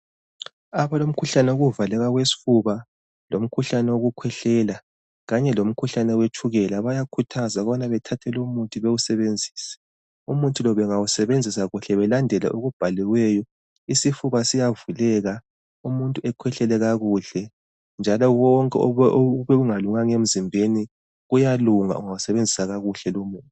Abalomkhuhlane wokuvaleka kwesfuba lomkhuhlane wokukhwehlela kanye lomkhuhlane wetshukela bayakhuthazwa ukubana bathathe lomuthi bewusebenzise . Umuthi lo bengawusebenzisa kuhle belandele okubhaliweyo isifuba siyavuleka umuntu akhwehlele kakhuhle njalo konke ebekungalunganga emzimbeni kuyalunga ungawusebenzisa kuhle lomuthi.